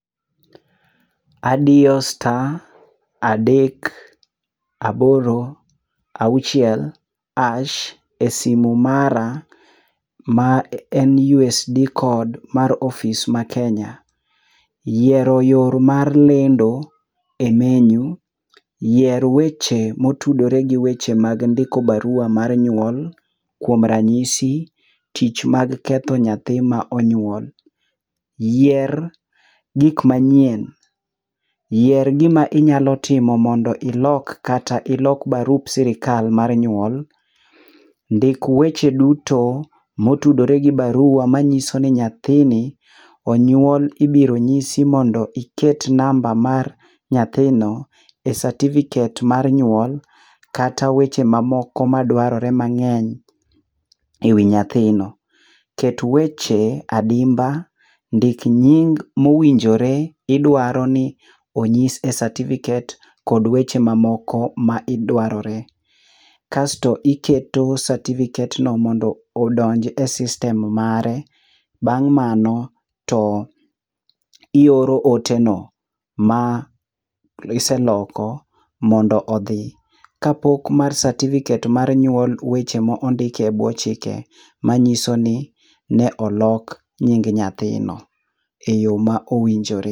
Adiyo star adek, aboro, auchiel [c]harsh e simu mara ma en USSD code mar office ma Kenya. Yiero yor mar lendo e menu. Yier weche motudore gi weche mag ndiko barua mar nyuol. Kuom ranyisi, tich mag ketho nyathi ma onywol. Yier gik manyien. Yier gima inyalo timo mondo ilok kata ilok barup sirka mar nyuol. Ndik weche duto motudore gi barua manyiso ni nyathini onyuol. Ibiro nyisi mondo iket namba mar nyathino e certificate mar nyuol kata weche mamoko ma dwarore mang'eny e wi nyathino. Ket weche adimba. Ndik nying mowinjore. Idwaro ni onyis e certificate kod weche mamoko ma idwarore. Kasto iketo certificate no mondo odonji e system mare. Bang' mano to ioro ote no ma kiseloko mondo odhi. Kapok mar certificate mar nyuol weche mondike e bwo chike manyiso ni ne olok nying nyathino e yo ma owinjore.